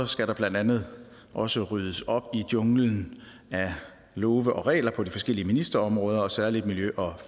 skal der blandt andet også ryddes op i junglen af love og regler på de forskellige ministerområder og særlig på miljø og